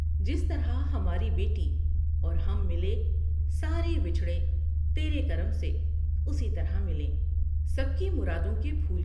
جس طرح ہماری بیٹی اور ہم ملے سارے بچھڑے تیرے کرم سے اسی طرح ملیں ، سب کی مرادوں کے پھول ۔